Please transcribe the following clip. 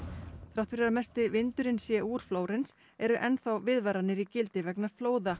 þrátt fyrir að mesti vindurinn sé úr Flórens eru enn þá viðvaranir í gildi vegna flóða